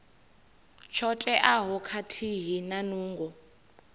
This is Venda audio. tsho teaho khathihi na nungo